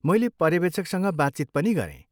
मैले पर्यवेक्षकसँग बातचित पनि गरेँ।